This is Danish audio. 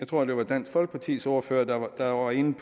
tror det var dansk folkepartis ordfører der der var inde